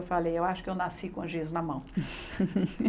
Eu falei, eu acho que eu nasci com o giz na mão.